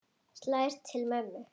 Slær til mömmu.